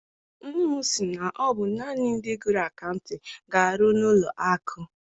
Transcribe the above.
Nne m sị na ọ bụ naanị ndị gụrụ akaụtịn ga- arụ n'ụlọ akụ.